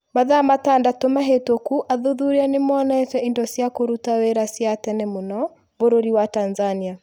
Mathaa matandatũ mahĩtũku athuthuria nĩ monete indo cia kũruta wĩra cia tene mũno bũrũri wa Tanzania.